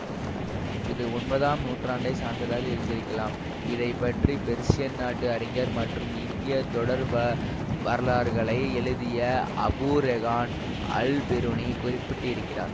இது ஒன்பதாம் நூற்றாண்டை சார்ந்ததாக இருந்திருக்கலாம் இதை பற்றி பெர்சியன் நாட்டு அறிஞர் மற்றும் இந்திய தொடர்வ வரலாறுகளை எழுதிய அபூ ரெஹான் அல்பிரூனி குறிப்பிட்டு இருக்கிறார்